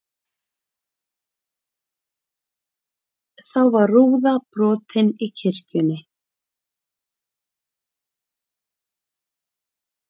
Þá var rúða brotin í kirkjunni